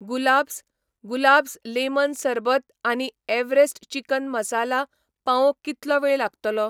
गुलाब्स, गुलाब्स लेमन सरबत आनी एव्हरेस्ट चिकन मसाला पावोवंक कितलो वेळ लागतलो ?